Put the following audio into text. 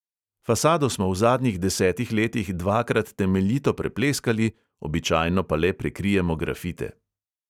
Fasado smo v zadnjih desetih letih dvakrat temeljito prepleskali, običajno pa le prekrijemo grafite.